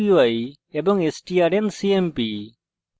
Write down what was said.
এবং strncmp